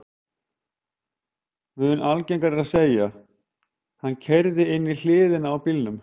Mun algengara er að segja: Hann keyrði inn í hliðina á bílnum